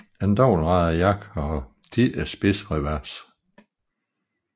En dobbeltradet jakke har oftest spidsrevers